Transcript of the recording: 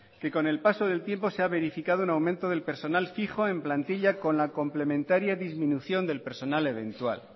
que con el paso del tiempo se ha verificado un aumento del personal fijo en plantilla con la complementaria disminución del personal eventual